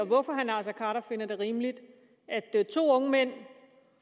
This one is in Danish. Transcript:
hvorfor herre naser khader finder dette rimeligt to unge mænd